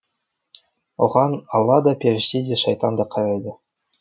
оған алла да періште де шайтан да қарайды